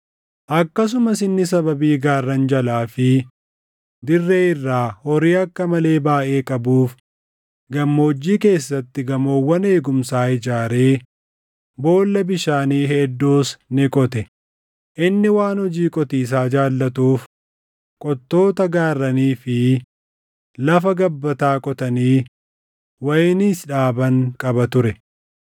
Akkasumas inni sababii gaarran jalaa fi dirree irraa horii akka malee baayʼee qabuuf gammoojjii keessatti gamoowwan eegumsaa ijaaree boolla bishaanii hedduus ni qote; inni waan hojii qotiisaa jaallatuuf qottoota gaarranii fi lafa gabbataa qotanii wayiniis dhaaban qaba ture.